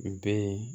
U bɛ